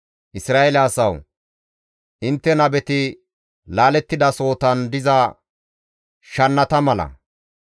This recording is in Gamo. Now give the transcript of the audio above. Isra7eele asawu! Intte nabeti laalettidasohotan diza shannata mala.